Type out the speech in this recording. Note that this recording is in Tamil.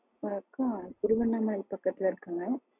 ஒரு அக்கா திருவண்ணா மலை பக்கத்துல இருக்காங்க.